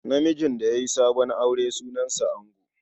Namijin da ya yi sabon aure sunansa ango.